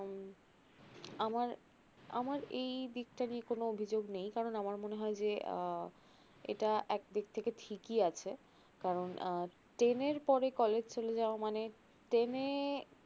আমার আমার এই দিকটা নিয়ে কোনো অভিযোগ নেই কারণ আমার মনে হয় যে আ এটা এক দিক থেকে ঠিকই আছে কারণ আ ten এর পরে college চলে যাওয়া মানে ten এ